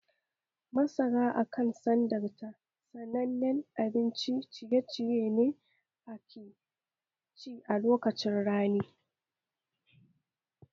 Masara a kan sandarta sanannen abincin ciye-ciye ne da ake ci a lokacin rani